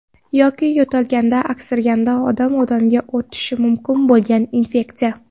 Yoki yo‘talganda, aksirganda odamdan-odamga o‘tishi mumkin bo‘lgan infeksiya.